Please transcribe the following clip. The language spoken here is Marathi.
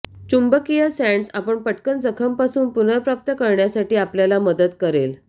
चुंबकीय सॅन्डस् आपण पटकन जखम पासून पुनर्प्राप्त करण्यासाठी आपल्याला मदत करेल